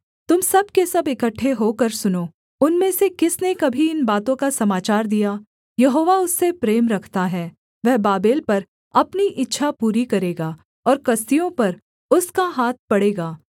तुम सब के सब इकट्ठे होकर सुनो उनमें से किसने कभी इन बातों का समाचार दिया यहोवा उससे प्रेम रखता है वह बाबेल पर अपनी इच्छा पूरी करेगा और कसदियों पर उसका हाथ पड़ेगा